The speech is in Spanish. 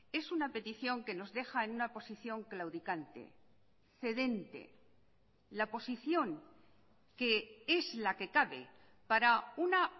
es una petición que nos deja en una posición claudicante cedente la posición que es la que cabe para una